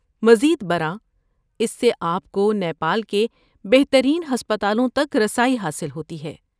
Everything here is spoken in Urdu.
مزید برآں، اس سے آپ کو نیپال کے بہترین ہسپتالوں تک رسائی حاصل ہوتی ہے۔